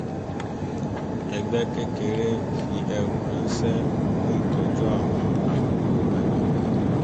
ẹgbẹ́ kékeré fi ẹrù ránṣẹ́ fún ìtọ́jú àwọn arúgbó agbègbè